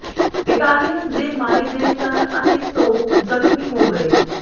Italians ਦਹਿ ਮਾਰੇ ਗਏ ਸਨ ਅਤੇ ਸੌ ਜ਼ਖ਼ਮੀ ਹੋ ਗਏ